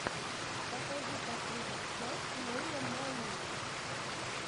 покажи последнюю часть нэйла мании